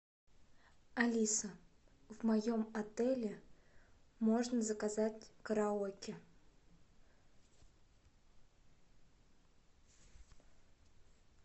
алиса в моем отеле можно заказать караоке